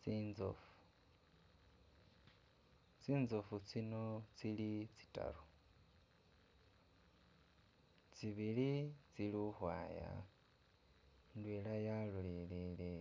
Tsinzofu tsinzofu tsino tsili tsitaru, tsibili tsili uhwaya, indwela yalolelele